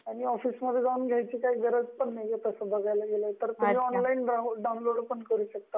Online घ्यायची गरज पण नाहीये तस बघायला गेलं तर, तुम्ही ऑनलाइन डाऊनलोड पण करू शकता.